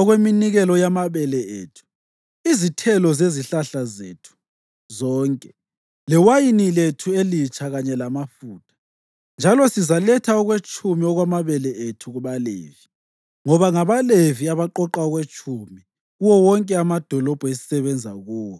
okweminikelo yamabele ethu, izithelo zezihlahla zethu zonke lewayini lethu elitsha kanye lamafutha. Njalo sizaletha okwetshumi okwamabele ethu kubaLevi, ngoba ngabaLevi abaqoqa okwetshumi kuwo wonke amadolobho esisebenza kuwo.